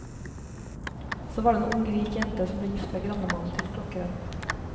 Så var det en ung, rik jente som ble gift med grannemannen til klokkeren.